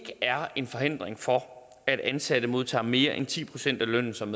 er en forhindring for at ansatte modtager mere end ti procent af lønnen som